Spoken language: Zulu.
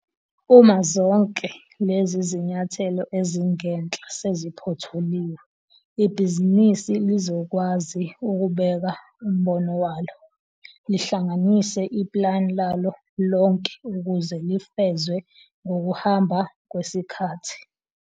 Uma zonke lezi zniyathelo ezingenhla seziphothuliwe ibhizinisi lizokwazi ukubeka umbono walo, lihlanganise iplani lalo lonke ukuze lifezwe ngokuhamba kwesikhathi.